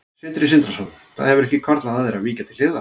Sindri Sindrason: Það hefur ekki hvarflað að þér að víkja til hliðar?